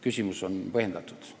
Küsimus on põhjendatud.